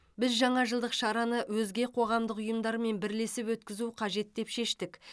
біз жаңа жылдық шараны өзге қоғамдық ұйымдармен бірлесіп өткізу қажет деп шештік